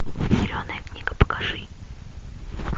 зеленая книга покажи